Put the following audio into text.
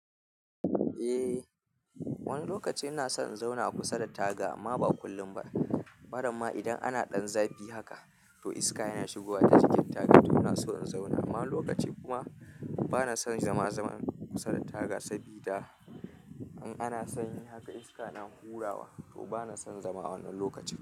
Eh, wani lokaci ina son in zauna kusa da taga amma ba kullum ba. Maramma idan ana ɗan zafi haka, to iska yana shigowa ta cikin taga, to ina so in zauna. Amma wani lokaci kuma bana son zama zama kusa da taga sabida in ana sanyi haka iska na hurawa, to bana son zama a wannan lokaci.